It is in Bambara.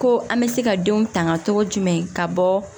Ko an bɛ se ka denw tanga cogo jumɛn ka bɔ